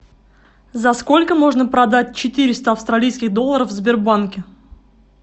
за сколько можно продать четыреста австралийских долларов в сбербанке